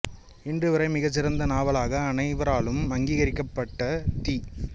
இன்று வரை மிகச் சிறந்த நாவலாக அனைவராலும் அங்கீகரிக்கப்பட்ட தி